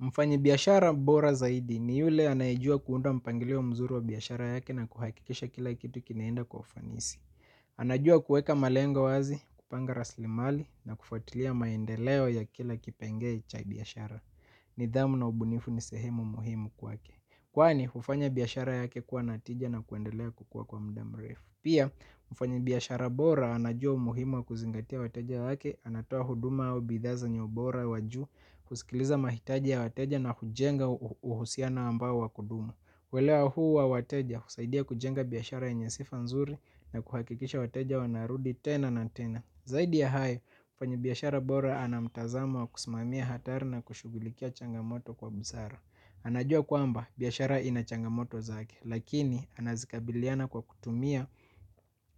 Mfanyabiashara bora zaidi ni yule anaejua kuunda mpangilio mzuri wa biashara yake na kuhakikisha kila kitu kinaenda kwa ufanisi. Anajua kuweka malengo wazi, kupanga raslimali na kufatilia maendeleo ya kila kipengele cha biashara. Nidhamu na ubunifu ni sehemu muhimu kwake. Kwani, hufanya biashara yake kuwa na tija na kuendelea kukua kwa muda mrefu. Pia, mfanya biashara bora anajua umuhimu wa kuzingatia wateja wake, anatoa huduma au bidhaa zenye ubora wa juu, kusikiliza mahitaji ya wateja na kujenga uhusiano ambao wa kudumu. Uelewa huu wa wateja, kusaidia kujenga biashara yenye sifa nzuri na kuhakikisha wateja wanarudi tena na tena. Zaidi ya hayo mfanyabiashara bora ana mtazamo wa kusimamia hatari na kushughulikia changamoto kwa busara. Anajua kwamba biashara ina changamoto zake lakini anazikabiliana kwa kutumia